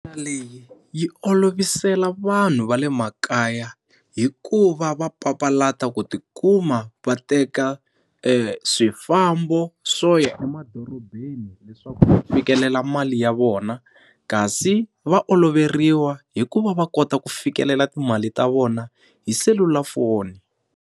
Leyi yi olovisela vanhu va le makaya hikuva va papalata ku ti kuma va teka swifambo swo ya emadorobeni leswaku va fikelela mali ya vona kasi va oloveriwa hi ku va va kota ku fikelela timali ta vona hi selulafoni.